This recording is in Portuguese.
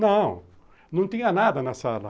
Não, não tinha nada na sala.